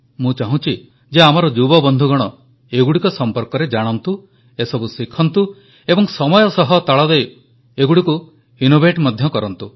ମୁଁ ଚାହୁଁଛି ଯେ ଆମର ଯୁବବନ୍ଧୁଗଣ ଏଗୁଡ଼ିକ ସମ୍ପର୍କରେ ଜାଣନ୍ତୁ ଏସବୁ ଶିଖନ୍ତୁ ଏବଂ ସମୟ ସହ ତାଳ ଦେଇ ଏଗୁଡ଼ିକୁ ଇନୋଭେଟ୍ ମଧ୍ୟ କରନ୍ତୁ